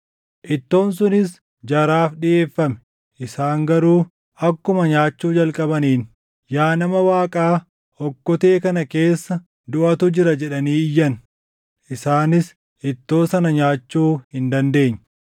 Ittoon sunis jaraaf dhiʼeeffame; isaan garuu akkuma nyaachuu jalqabaniin, “Yaa nama Waaqaa, okkotee kana keessa duʼatu jira!” jedhanii iyyan. Isaanis ittoo sana nyaachuu hin dandeenye.